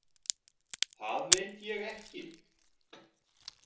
Það veit ég ekki